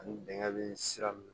Ani bɛnkɛ bi sira min